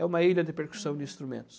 É uma ilha de percussão de instrumentos.